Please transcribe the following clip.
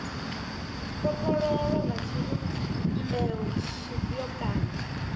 kopololwa nga tshivhumbeo tshifhio kana